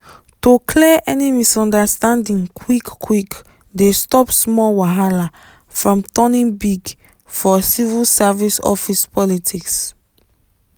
to clear any misunderstanding quick-quick dey stop small wahala from turning big for civil service office politics.